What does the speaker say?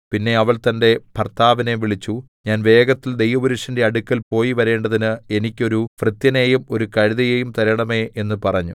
പിന്നെ അവൾ തന്റെ ഭർത്താവിനെ വിളിച്ചു ഞാൻ വേഗത്തിൽ ദൈവപുരുഷന്റെ അടുക്കൽ പോയിവരേണ്ടതിന് എനിക്ക് ഒരു ഭൃത്യനെയും ഒരു കഴുതയെയും തരണമേ എന്ന് പറഞ്ഞു